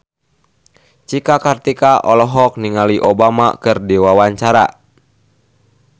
Cika Kartika olohok ningali Obama keur diwawancara